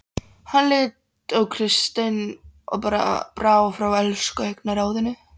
Hann leit á Christian og brá fyrir elsku í augnaráðinu.